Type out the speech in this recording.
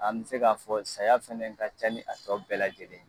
An bɛ se k'a fɔ sisan , saya fana ka ca ni a tɔ bɛɛ lajɛlen ye.